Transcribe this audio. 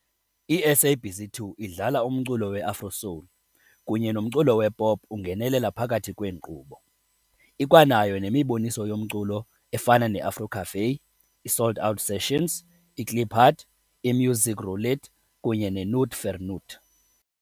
I-SABC 2 idlala umculo we-afro-soul kunye nomculo wep pop ungenelela phakathi kweenkqubo. Ikwanayo nemiboniso yomculo efana neAfro Cafè, i-Soul'd Out Sessions, i-Kliphard, i-Musiek Roulette kunye neNoot vir Noot.